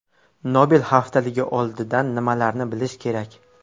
Nobel haftaligi oldidan nimalarni bilish kerak?